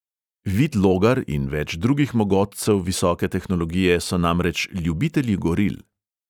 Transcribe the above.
Vid logar in več drugih mogotcev visoke tehnologije so namreč ljubitelji goril.